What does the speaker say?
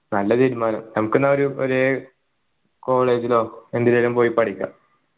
നല്ല തീരുമാനം നമുക്കെന്നാ ഒരു ഒര് college ലോ എന്തിലേലും പോയി പഠിക്കാം